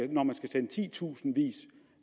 når man skal sende titusindvis